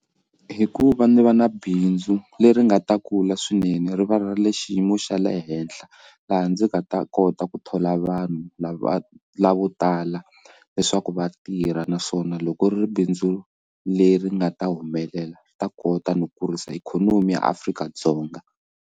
Hikuva ndzi va na bindzu leri nga ta kula swinene ri variable xiyimo xa le henhla laha ndzi nga ta kota ku thola vanhu lava lavo tala leswaku vatirha naswona loko ri ri bindzu leri nga ta humelela swi ta kota no kurisa ikhonomi ya Afrika-Dzonga.